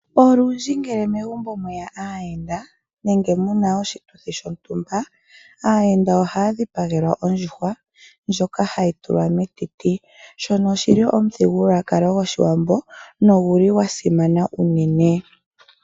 Olundji ngele megumbo mweya aayenda nenge muna oshituthi shontumba aayenda oha ya dhipagelwa ondjuhwa ndjoka hayi tulwa metiti. Shono oshili omuthigululwakalo goShiwambo noguli gwa simana unene.